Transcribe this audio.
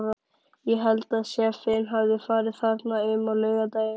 Ég held að séffinn hafi farið þarna um á laugardaginn.